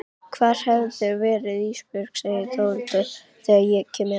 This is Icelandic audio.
Hvar hefurðu verið Ísbjörg, segir Þórhildur þegar ég kem inn.